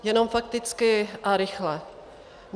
Jenom fakticky a rychle.